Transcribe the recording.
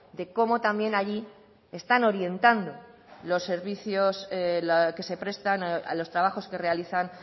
de cómo también allí están orientando los servicios que se prestan a los trabajos que realizan